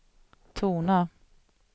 tona